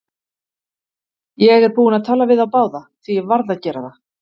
Ég er búinn að tala við þá báða, því ég varð að gera það.